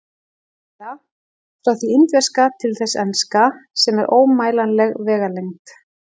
Eða: frá því indverska til þess enska, sem er ómælanleg vegalengd.